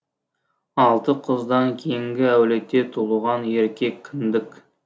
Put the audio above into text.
алты қыздан кейінгі әулете тулыған еркек кіндік